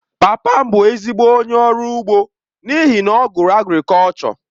Papa m bụ ezigbo onye ọrụ ugbo n’ihi na ọ gụrụ agrikọlchọ..